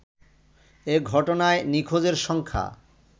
এ ঘটনায় নিখোঁজের সংখ্যা